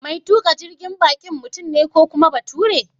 Mai tuƙa jirgin baƙin mutum ne ko kuma bature?